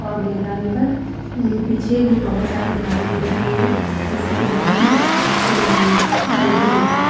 और मैदान पर ऊं पीछे भी बहुत सारे झाड़ी दिख रही है किसी की बिल्डिंग में से ऊं टंकी दिख रही हैं।